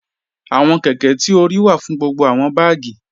Awọn kẹ̀kẹ̀ ti o ríì wà fún gbogbo awọn bágì.